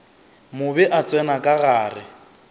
mobe a tsena ka gare